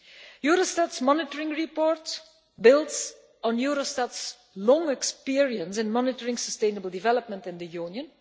Eurostat's monitoring report builds on Eurostat's long experience in monitoring sustainable development in the Union.